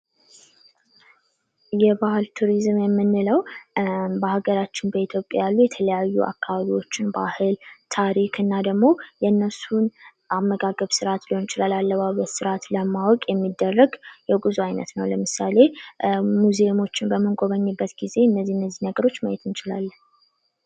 ጉዞ የራስን ነፃነት ያጎናጽፋል። ቱሪዝም የአካባቢ ጥበቃን ማበረታታት አለበት። ስደት የቤተሰብ ትስስርን ሊያጠናክር ወይም ሊያዳክም ይችላል።